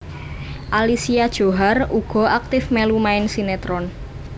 Alicia Djohar uga aktif mèlu main sinetron